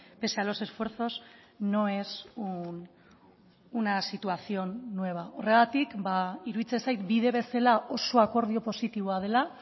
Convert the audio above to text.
pese a los esfuerzos no es una situación nueva horregatik iruditzen zait bide bezala oso akordio positiboa dela